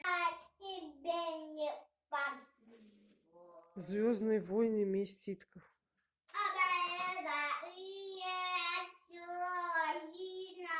звездные войны месть ситхов